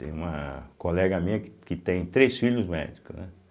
Tem uma colega minha que que tem três filhos médicos, né?